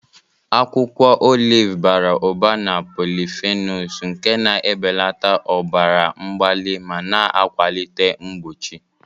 Akwụkwọ oliv bara ụba na polyphenols nke na-ebelata ọbara mgbali ma na-akwalite mgbochi.